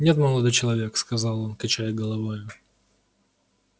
нет молодой человек сказал он качая головою